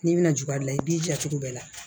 N'i bɛna jugalin i b'i ja cogo bɛɛ la